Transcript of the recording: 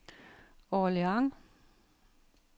Orléans